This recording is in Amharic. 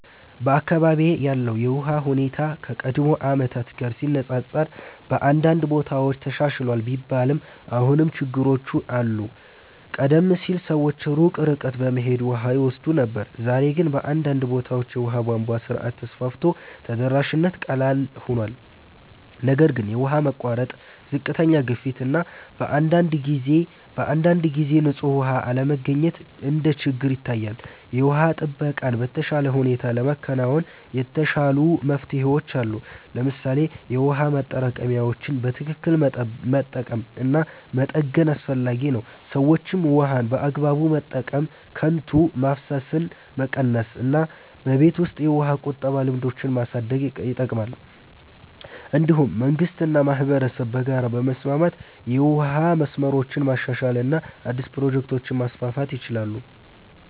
በአካባቢዬ ያለው የውሃ ሁኔታ ከቀድሞ ዓመታት ጋር ሲነፃፀር በአንዳንድ ቦታዎች ተሻሽሏል ቢባልም አሁንም ችግሮች አሉ። ቀደም ሲል ሰዎች ሩቅ ርቀት በመሄድ ውሃ ይወስዱ ነበር፣ ዛሬ ግን በአንዳንድ ቦታዎች የውሃ ቧንቧ ስርዓት ተስፋፍቶ ተደራሽነት ቀላል ሆኗል። ነገር ግን የውሃ መቋረጥ፣ ዝቅተኛ ግፊት እና በአንዳንድ ጊዜ ንጹህ ውሃ አለመገኘት እንደ ችግር ይታያል። የውሃ ጥበቃን በተሻለ ሁኔታ ለማከናወን የተሻሉ መፍትሄዎች አሉ። ለምሳሌ የውሃ ማጠራቀሚያዎችን በትክክል መጠቀም እና መጠገን አስፈላጊ ነው። ሰዎችም ውሃን በአግባቡ መጠቀም፣ ከንቱ ማፍሰስን መቀነስ እና በቤት ውስጥ የውሃ ቁጠባ ልምዶችን ማሳደግ ይጠቅማል። እንዲሁም መንግስት እና ማህበረሰብ በጋራ በመስራት የውሃ መስመሮችን ማሻሻል እና አዲስ ፕሮጀክቶችን ማስፋፋት ይችላሉ።